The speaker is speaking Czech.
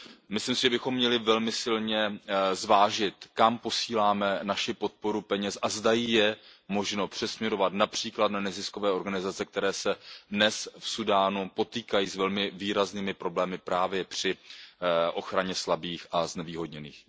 Myslím si, že bychom měli velmi silně zvážit, kam posíláme naši podporu ve formě peněz a zda ji je možno přesměrovat například na neziskové organizace, které se dnes v Súdánu potýkají s velmi výraznými problémy právě při ochraně slabých a znevýhodněných.